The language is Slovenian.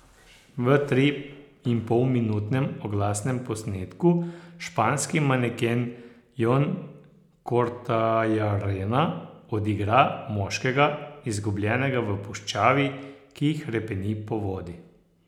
V triinpolminutnem oglasnem posnetku španski maneken Jon Kortajarena odigra moškega, izgubljenega v puščavi, ki hrepeni po vodi.